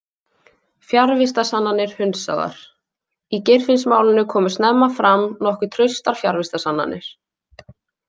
Fjarvistarsannanir hundsaðar Í Geirfinnsmálinu komu snemma fram nokkuð traustar fjarvistarsannanir.